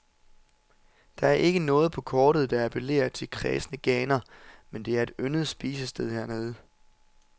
Der er ikke noget på kortet, der appellerer til kræsne ganer, men det er et yndet spisested hernede.